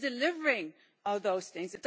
It is delivering all those things